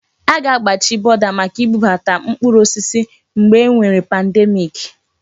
Aga-agbachi bọda maka ibubata mkpụrụ osisi mgbe e nwere pandemiiki.